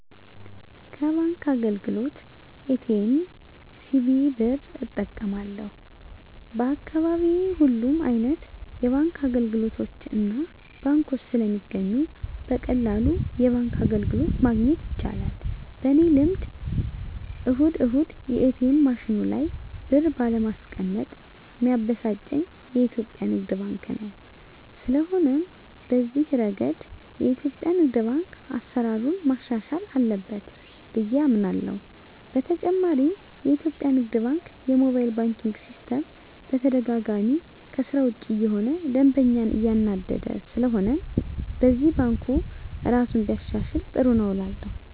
ከባንክ አገልግሎት ኤ.ቲ.ኤም፣ ሲቪ ብር እጠቀማለሁ፣ በአካባቢየ ሁሉም አይነት የባንክ አገልግሎቶችና ባንኮች ስለሚገኙ በቀላሉ የባንክ አገልግሎት ማግኘት ይቻላል። በኔ ልምድ እሁድ እሁድ የኤትኤም ማሽኑ ላይ ብር ባለማስቀመጥ ሚያበሳጨኝ የኢትዮጲያ ንግድ ባንክ ነው። ስለሆነም በዚህ እረገድ የኢትዮጲያ ንግድ ባንክ አሰራሩን ማሻሻል አለበት ብየ አምናለሆ። በተጨማሪም የኢትዮጲያ ንግድ ባንክ የሞባይል ባንኪን ሲስተም በተደጋጋሚ ከስራ ውጭ እየሆነ ደንበኛን እያናደደ ስለሆነም በዚህም ባንኩ እራሱን ቢያሻሽል ጥሩ ነው እላለሁ።